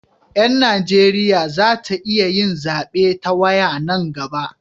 Yan Najeriya za ta iya yin zabe ta waya nan gaba